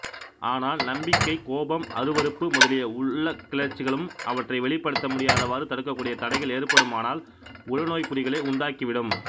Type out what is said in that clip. ஆனால் நம்பிக்கை கோபம் அருவருப்பு முதலிய உள்ளக்கிளர்ச்சிகளும் அவற்றை வெளிப்படுத்த முடியாதவாறு தடுக்கக்கூடிய தடைகள் ஏற்படுமானால் உளநோய்க் குறிகளை உண்டாக்கிவிடும்